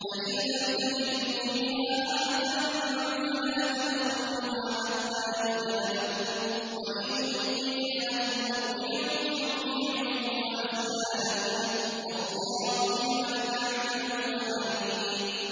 فَإِن لَّمْ تَجِدُوا فِيهَا أَحَدًا فَلَا تَدْخُلُوهَا حَتَّىٰ يُؤْذَنَ لَكُمْ ۖ وَإِن قِيلَ لَكُمُ ارْجِعُوا فَارْجِعُوا ۖ هُوَ أَزْكَىٰ لَكُمْ ۚ وَاللَّهُ بِمَا تَعْمَلُونَ عَلِيمٌ